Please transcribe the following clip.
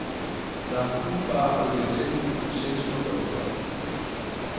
Der er pool og bar, og det ligger tæt på byens centrum og badestranden.